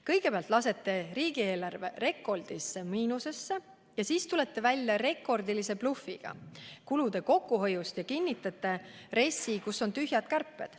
Kõigepealt lasete riigieelarve rekordilisse miinusesse, siis tulete välja rekordilise blufiga kulude kokkuhoiu kohta ja kinnitate RES-i, milles on tühjad kärped.